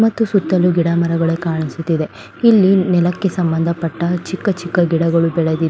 ಮತ್ತು ಸುತ್ತ ಗಿಡ ಮರಗಳೇ ಕಾಣಿಸುತ್ತಿದೆ ಇಲ್ಲಿ ನೆಲ್ಲಕ್ಕೆ ಸಂಬಂಧಪಟ್ಟ ಚಿಕ್ಕ ಚಿಕ್ಕ ಗಿಡಗಳು ಬೆಳೆದಿದೆ.